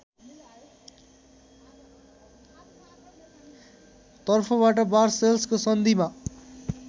तर्फबाट वार्सेल्सको सन्धिमा